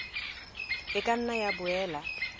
e ka nna ya boela